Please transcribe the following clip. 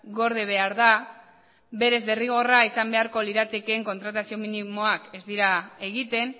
gorde behar da berez derrigorra izan beharko liratekeen kontratazio minimoak ez dira egiten